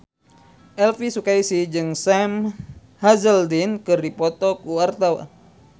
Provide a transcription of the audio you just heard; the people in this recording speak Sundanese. Elvi Sukaesih jeung Sam Hazeldine keur dipoto ku wartawan